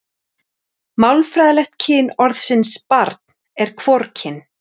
Málfræðilegt kyn orðsins barn er hvorugkyn.